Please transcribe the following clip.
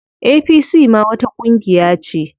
APC ma wata ƙungiya ce.